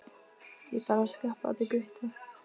Ég þarf að skreppa til Gutta.